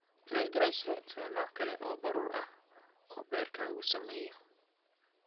Triglycerides waa nooc kale oo baruur ah oo beerkaagu sameeyo.